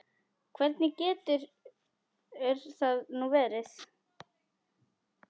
Hvernig getur það nú verið?